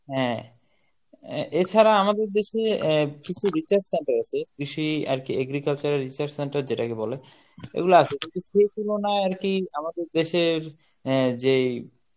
হ্যাঁ আহ এছাড়া আমাদের দেশে আহ কিছু research centre আছে, কৃষি আরকি agriculture research centre যেটাকে বলে এগুলা আছে কিন্তু সেই তুলনায় আরকি আমাদের দেশের অ্যা যেই